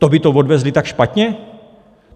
To by to odvezli tak špatně?